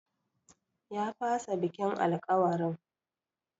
Ya fasa bikin alkawarin.